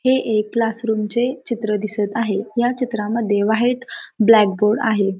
हे एक क्लासरूमचे चित्र दिसत आहे. ह्या चित्रामध्ये व्हाईट ब्लॅकबोर्ड आहे.